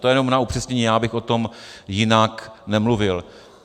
To jenom na upřesnění, já bych o tom jinak nemluvil.